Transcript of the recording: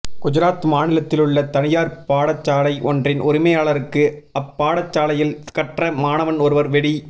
குஜராத் மாநிலத்திலுள்ள தனியார் பாடசாலை ஒன்றின் உரிமையாளருக்கு அப்பாடசாலையில் கற்ற மாணவன் ஒருவர் வெடி